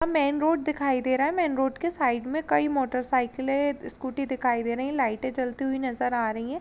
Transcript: Main road दिखाई दे रहा है मेन रोड के साइड में कोई मोटर-साइकिले स्कूटी दिखाई दे रही हैं लाइटे जलती हुई नजर आ रही हैं।